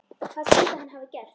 Hvað skyldi hann hafa gert?